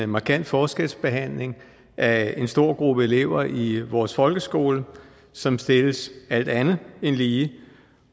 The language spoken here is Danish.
markant forskelsbehandling af en stor gruppe elever i vores folkeskole som stilles alt andet end lige